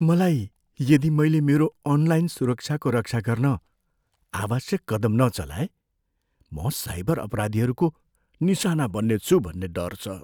मलाई यदि मैले मेरो अनलाइन सुरक्षाको रक्षा गर्न आवश्यक कदम नचलाए म साइबर अपराधीहरूको निशाना बन्नेछु भन्ने डर छ।